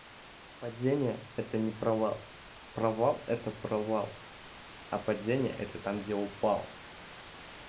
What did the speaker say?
падение это не провал провал это провал а падение это там где упал